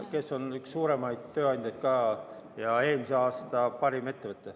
... kes on üks suuremaid tööandjaid ja eelmise aasta parim ettevõte.